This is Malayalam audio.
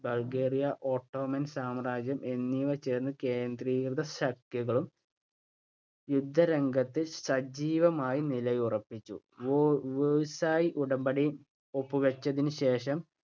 ബൾഗേറിയ, ഓട്ടോമൻ സാമ്രാജ്യം എന്നിവ ചേർന്ന് കേന്ദ്രീയശക്തികളും യുദ്ധരംഗത്ത് സജീവമായി നിലയുറപ്പിച്ചു. വേ versai ഉടമ്പടി ഒപ്പുവച്ചതിനു ശേഷം